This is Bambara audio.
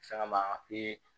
Fɛn kama